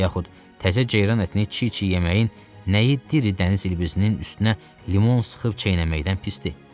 Yaxud təzə ceyran ətini çiğ-çiğ yeməyin nəyi diri dəniz ilbizinin üstünə limon sıxıb çeynəməkdən pisdir?